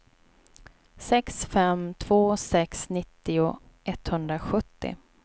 sex fem två sex nittio etthundrasjuttio